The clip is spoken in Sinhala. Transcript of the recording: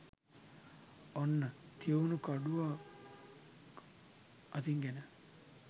ඔන්න තියුණු කඩුවක් අතින් ගෙන